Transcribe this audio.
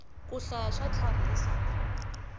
ku hlaya swa tlharihisa munhu